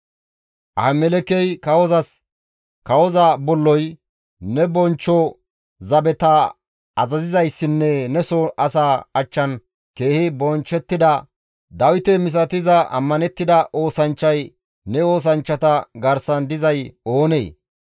Ahimelekey kawozas, «Kawoza bolloy, ne bonchcho zabeta azazizayssinne neso asaa achchan keehi bonchchettida Dawite misatiza ammanettida oosanchchay ne oosanchchata garsan dizay oonee?